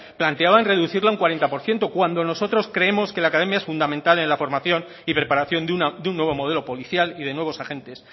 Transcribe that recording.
planteaban reducirla un cuarenta por ciento cuando nosotros creemos que la academia es fundamental en la formación y preparación de un nuevo modelo policial y de nuevos agentes